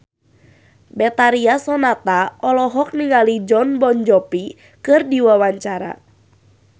Betharia Sonata olohok ningali Jon Bon Jovi keur diwawancara